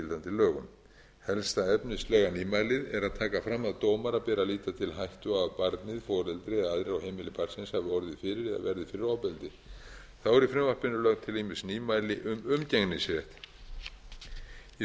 lögum helsta efnislega nýmælið er að taka fram að dómara beri að líta til hættu á að barnið foreldri eða aðrir á heimili barnsins hafi orðið fyrir eða verði fyrir ofbeldi þá eru í frumvarpinu lögð til ýmis nýmæli um umgengnisrétt í